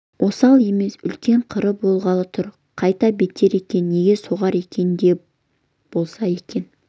осал емес үлкен қыры болғалы тұр қайда беттер екен неге соғар екен не де болса енді